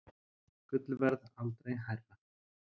Gullverð aldrei hærra